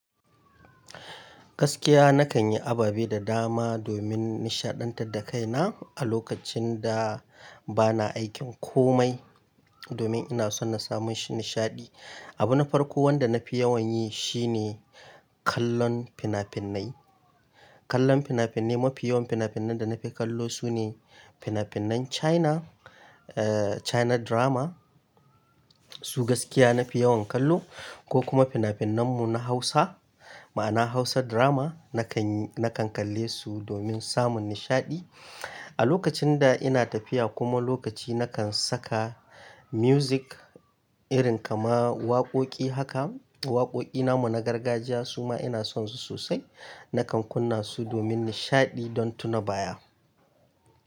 Gaskiya nakan yi ababe da dama domin nishaɗantar da kaina a lokacin da bana aikin komai, domin ina son na samu nishaɗi. Abu na farko wanda nafi yawan yi shine kallon fina-finai. Kallon fina-finai, mafi yawan fina-finan da nafi kallo sune fina-finan China, eh China drama. Su gaskiya nafi yawan kallo ko kuma fina-finan mu na Hausa, ma'ana Hausa drama nakan, nakan kalle su domin samun nishaɗi. A lokacin da ina tafiya kuma lokaci nakan saka music irin kama waƙoƙi haka. Waƙoƙi namu na gargajiya su ma ina son su sosai. Nakan kunna su domin nishaɗi don tuna baya.